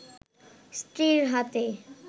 স্ত্রীর হাতে